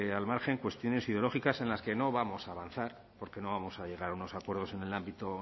al margen cuestiones ideológicas en las que no vamos a avanzar porque no vamos a llegar a unos acuerdos en el ámbito